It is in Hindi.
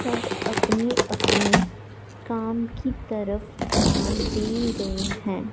सब अपने अपने काम की तरफ ध्यान दे रहे हैं।